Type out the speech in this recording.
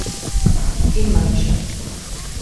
In manjše.